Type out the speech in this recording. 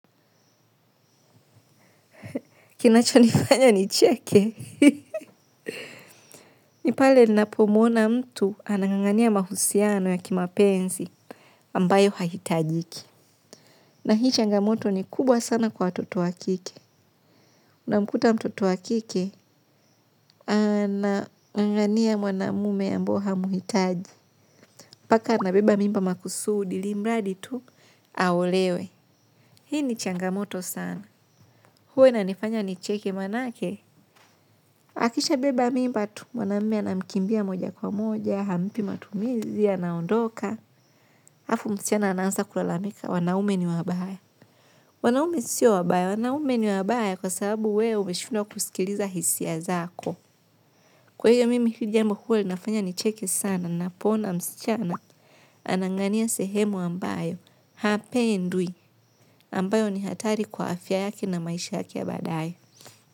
Kinacho nifanya nicheke. Ni pale ninapomuona mtu anangangania mahusiano ya kimapenzi ambayo hahitajiki. Na hii changamoto ni kubwa sana kwa watoto wa kike. Una mkuta mtoto wa kike anangangania mwanamume ambao hamuhitaji. Mpaka anabeba mimba makusudi ilimradi tu aolewe. Hii ni changamoto sana. Huwa inanifanya nicheke maanake. Akishabeba mimba tu, mwanaume anamikimbia moja kwa moja, hampi matumizi, anaondoka, alafu msichana ana anza kulalamika, wanaume ni wabaya. Wanaume sio wabaya, wanaume ni wabaya kwa sababu wewe umeshindwa kusikiliza hisia zako. Kwa hiyo mimi hili jambo huwa linafanya nicheke sana, napoona msichana, anangangania sehemu ambayo, hapendwi, ambayo ni hatari kwa afya yake na maisha yaki yake baadaye.